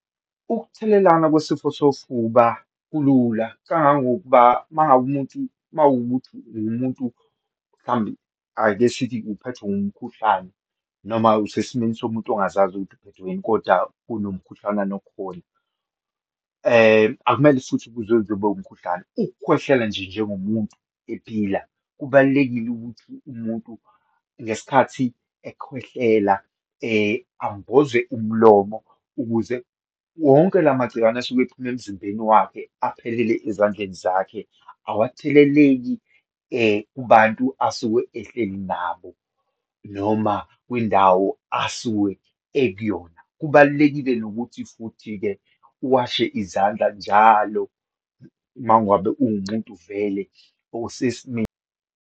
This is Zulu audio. Ukuthelelana kwesifo sofuba kulula, kangangokuba uma ngabe umuntu uma wukuthi uwumuntu, mhlambe ake sithi uphethwe umkhuhlane, noma usesimeni somuntu ongazazi ukuthi uphethwe yini, kodwa kunomkhuhlanana okhona, akumele futhi kuze uzobe umkhuhlane, ukukhwehlela nje njengomuntu ephila. Kubalulekile ukuthi umuntu, ngesikhathi ekhwehlela ambozwe umlomo ukuze wonke la magciwane asuke ephuma emzimbeni wakhe, aphelele ezandleni zakhe, awatheleleki kubantu asuke ehleli nabo, noma kwindawo asuke ekuyona. Kubalulekile nokuthi futhi-ke uwashe izandla njalo uma ngabe ungumuntu vele osesimeni.